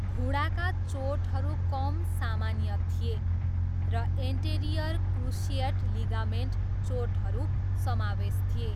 घुँडाका चोटहरू कम सामान्य थिए र एन्टेरियर क्रुसिएट लिगामेन्ट चोटहरू समावेश थिए।